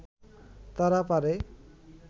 তারা পারে